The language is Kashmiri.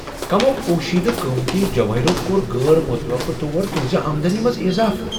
کٔمَو پوشیدٕ قۭمتی جوٲہرو کۄر غٲر متوقع طور تُہنزِ آمدنی منٛز اضافہٕ ؟